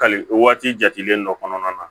Kali waati jatelen dɔ kɔnɔna na